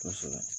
Kosɛbɛ